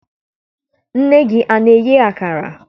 Nne gị ana-eye akara?